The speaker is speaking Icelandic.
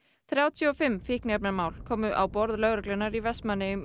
þrjátíu og fimm fíkniefnamál komu á borð lögreglunnar í Vestmannaeyjum